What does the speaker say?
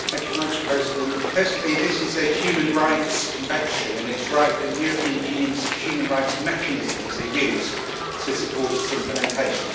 Mr President, firstly this is a human rights convention and it is right that the European Union's human rights mechanisms are used to support its implementation.